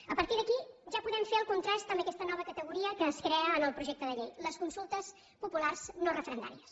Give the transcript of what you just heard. a partir d’aquí ja podem fer el contrast amb aquesta nova categoria que es crea en el projecte de llei les consultes populars no referendàries